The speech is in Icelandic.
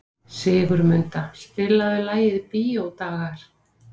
Sigurmunda, spilaðu lagið „Bíódagar“.